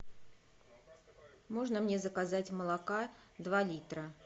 можно мне заказать молока два литра